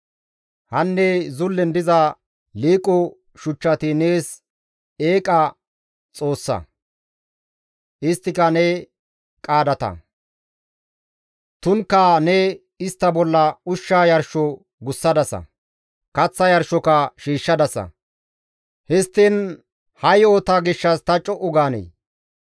Hanne zullen diza liiqo shuchchati nees eeqa xoossata; isttika ne qaadata; tumukka ne istta bolla ushsha yarsho gussadasa; kaththa yarshoka shiishshadasa; histtiin ha yo7ota gishshas ta co7u gaanee?